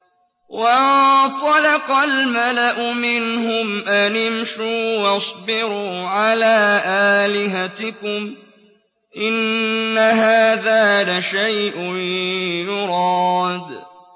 وَانطَلَقَ الْمَلَأُ مِنْهُمْ أَنِ امْشُوا وَاصْبِرُوا عَلَىٰ آلِهَتِكُمْ ۖ إِنَّ هَٰذَا لَشَيْءٌ يُرَادُ